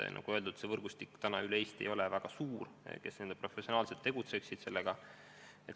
Aga nagu öeldud, see professionaalide võrgustik ei ole kogu Eestis väga suur.